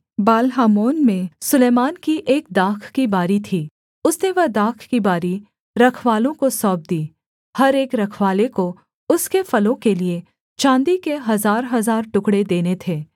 Baal Hamon में सुलैमान की एक दाख की बारी थी उसने वह दाख की बारी रखवालों को सौंप दी हर एक रखवाले को उसके फलों के लिये चाँदी के हजारहजार टुकड़े देने थे